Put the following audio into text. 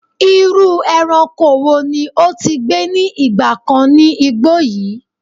Iru eranko wo ni o ti gbe ni igba kan ni igbo yi?